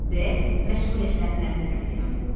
D. məşğuliyyətlərindən irəli gələn qoxu.